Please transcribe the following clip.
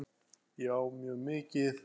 Já mjög mikið.